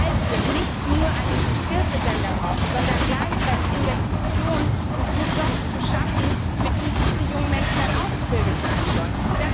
Weil wir nicht nur eine brauchen, sondern gleichzeitig Investitionen, um die Jobs zu schaffen, für die diese jungen Menschen dann ausgebildet sein sollen.